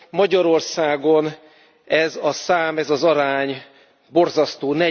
Magyarországon ez a szám, ez az arány borzasztó